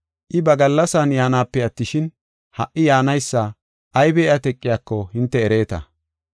I ba gallasan yaanape attishin, ha77i yaanaysa aybi iya teqiyako hinte ereeta.